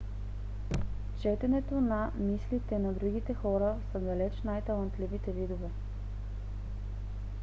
в четенето на мислите на другите хората са далеч най-талантливите видове